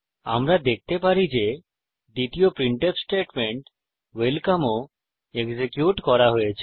আমরা দেখতে পারি যে দ্বিতীয় প্রিন্টফ স্টেটমেন্ট ওয়েলকাম ও এক্সিকিউট করা হয়েছে